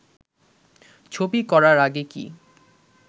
ছবি করার আগে কি